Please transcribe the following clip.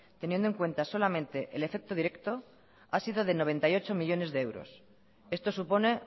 teniendo en cuenta solamente el efecto directo ha sido de noventa y ocho millónes de euros esto supone